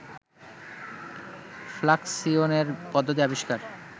ফ্লাকসিয়নের পদ্ধতি আবিষ্কার